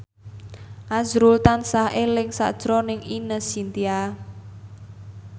azrul tansah eling sakjroning Ine Shintya